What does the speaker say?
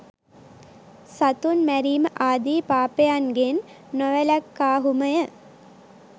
සතුන් මැරීම ආදී පාපයන්ගෙන් නොවැළක්කාහුමය.